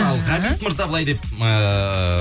ал ғабит мырза былай деп ыыы